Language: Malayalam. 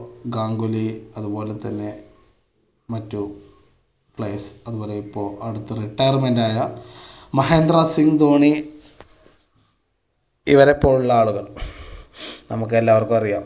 ഗാംഗുലി അത് പോലെ തന്നെ മറ്റു players അത് പോലെ ഇപ്പൊ അടുത്ത് retirement ആയ മഹേന്ദ്ര സിംഗ് ധോണി ഇവരെ പോലുള്ള ആളുകൾ, നമുക്ക് എല്ലാവർക്കും അറിയാം.